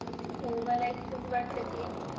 हो मलाही तसंच वाटतं की